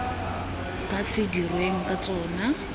ka se dirweng ka tsona